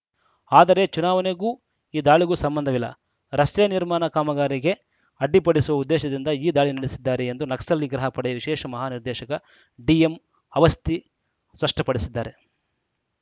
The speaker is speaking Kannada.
ಆದರೆ ಚುನಾವಣೆಗೂ ಈ ದಾಳಿಗೂ ಸಂಬಂಧವಿಲ್ಲ ರಸ್ತೆ ನಿರ್ಮಾಣ ಕಾಮಗಾರಿಗೆ ಅಡ್ಡಿಪಡಿಸುವ ಉದ್ದೇಶದಿಂದ ಈ ದಾಳಿ ನಡೆಸಿದ್ದಾರೆ ಎಂದು ನಕ್ಸಲ್‌ ನಿಗ್ರಹ ಪಡೆಯ ವಿಶೇಷ ಮಹಾ ನಿರ್ದೇಶಕ ಡಿಎಂ ಅವಸ್ತಿ ಸ್ಪಷ್ಟಪಡಿಸಿದ್ದಾರೆ